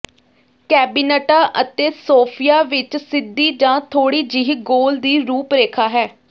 ਕੈਬਿਨਟਾਂ ਅਤੇ ਸੋਫਿਆਂ ਵਿੱਚ ਸਿੱਧੀ ਜਾਂ ਥੋੜ੍ਹੀ ਜਿਹੀ ਗੋਲ ਦੀ ਰੂਪ ਰੇਖਾ ਹੈ